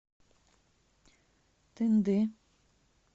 тынды